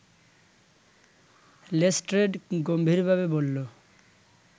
Lestrade গম্ভীরভাবে বলল